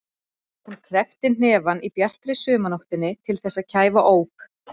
Hún kreppti hnefana í bjartri sumarnóttinni til þess að kæfa óp.